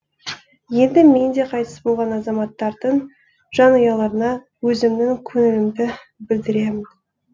енді мен де қайтыс болған азаматтардың жанұяларына өзімнің көңілімді білдіремін